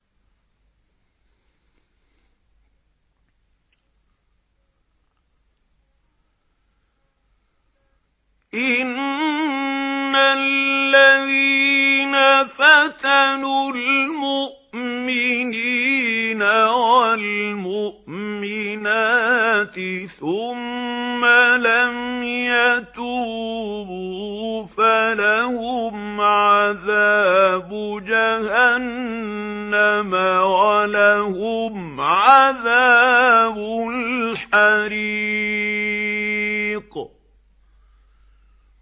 إِنَّ الَّذِينَ فَتَنُوا الْمُؤْمِنِينَ وَالْمُؤْمِنَاتِ ثُمَّ لَمْ يَتُوبُوا فَلَهُمْ عَذَابُ جَهَنَّمَ وَلَهُمْ عَذَابُ الْحَرِيقِ